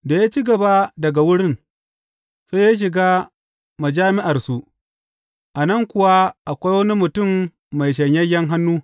Da ya ci gaba daga wurin, sai ya shiga majami’arsu, a nan kuwa akwai wani mutum mai shanyayyen hannu.